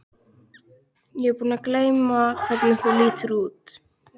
Ég er búin að gleyma hvernig þú lítur út.